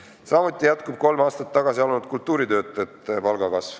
Samuti jätkub kolm aastat tagasi alanud kultuuritöötajate palga kasv.